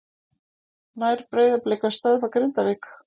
Nær Breiðablik að stöðva Grindavík?